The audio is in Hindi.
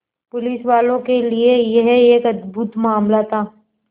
पुलिसवालों के लिए यह एक अद्भुत मामला था